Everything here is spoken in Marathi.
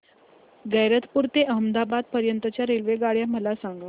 गैरतपुर ते अहमदाबाद पर्यंत च्या रेल्वेगाड्या मला सांगा